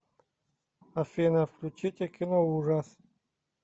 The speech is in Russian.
афина включите киноужас